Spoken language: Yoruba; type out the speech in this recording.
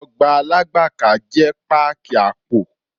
Ọgbà Alágbàká jẹ́ páàkì àpò.